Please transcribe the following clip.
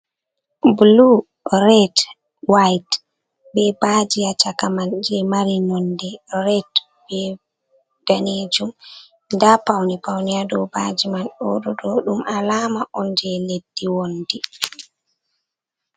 Blu, red, white, be baje ha chaka man je mari nonde red be danejum, nda paune paune ha do baji man ɗo ɗo ɗo ɗum alama on je leddi wondi.